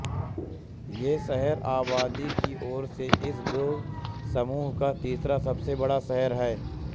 ये शहर आबादी की ओर से इस द्वीपसमूह का तीसरा सबसे बड़ा शहर है